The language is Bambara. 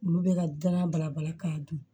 Olu bɛ ka gana balabala k'a dun